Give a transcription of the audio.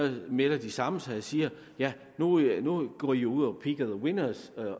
melder de samme sig og siger ja nu går i jo ud og pick the winners